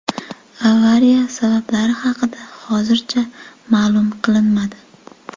Avariya sabablari haqida hozircha ma’lum qilinmadi.